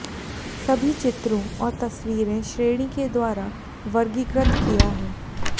सभी चित्रों और तस्वीरें श्रेणी के द्वारा वर्गीकृत किया है